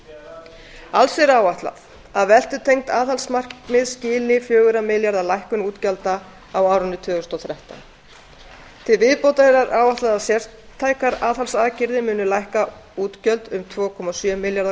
ríkisstarfseminnar alls er áætlað að veltutengd aðhaldsmarkmið skili fjögurra milljarða króna lækkun útgjalda á árinu tvö þúsund og þrettán til viðbótar er áætlað að sértækar aðhaldsaðgerðir muni lækka útgjöld um tvö komma sjö milljarða